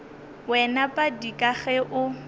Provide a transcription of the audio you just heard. wena padi ka ge o